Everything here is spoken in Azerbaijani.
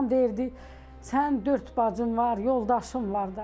Anam deyirdi: sən dörd bacın var, yoldaşın var da.